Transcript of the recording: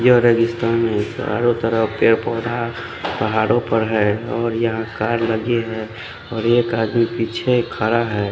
यह रेगिस्तान है चारो तरफ पेड़ पोधा पहाड़ो पर है और यहाँ कार लगी है और एक आदमी पीछे खरा है।